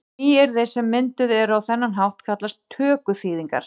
Nýyrði sem mynduð eru á þennan hátt kallast tökuþýðingar.